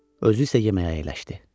Özü isə yeməyə əyləşdi.